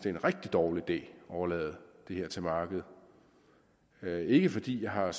en rigtig dårlig idé at overlade det til markedet det er ikke fordi jeg har